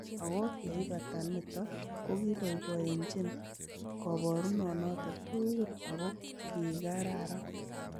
Ago yeibata niton kogiboiboenjen koburonoton tugul ago kigararan.